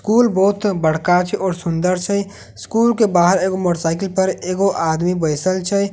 school बहुत बड़का छे और सुन्दर र्छ स्कूल के बहार एगो मोटरसाइकिल पर एगो आदमी बइसल छै--